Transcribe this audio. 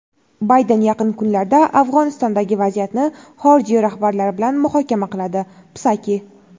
Bayden yaqin kunlarda Afg‘onistondagi vaziyatni xorijiy rahbarlar bilan muhokama qiladi — Psaki.